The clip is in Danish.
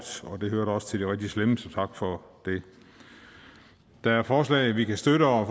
og det hørte da også til de rigtig slemme så tak for det der er forslag vi kan støtte og